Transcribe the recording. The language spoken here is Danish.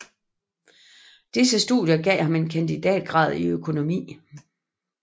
Disse studier gav ham en kandidatgrad i økonomi